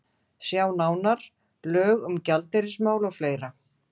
Sjá nánar: Lög um gjaldeyrismál og fleira.